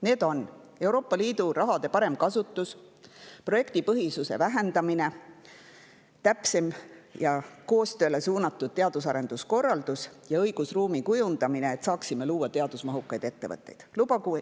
Need on Euroopa Liidu raha parem kasutus, projektipõhisuse vähendamine, täpsem ja koostööle suunatud teadus-arenduskorraldus ning õigusruumi kujundamine, et saaksime luua teadusmahukaid ettevõtteid.